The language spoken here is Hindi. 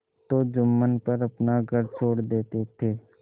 तो जुम्मन पर अपना घर छोड़ देते थे